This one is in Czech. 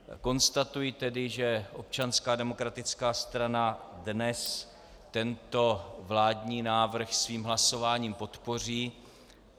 Konstatuji tedy, že Občanská demokratická strana dnes tento vládní návrh svým hlasováním podpoří.